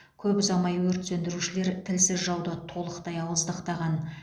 көп ұзамай өрт сөндірушілер тілсіз жауды толықтай ауыздықтаған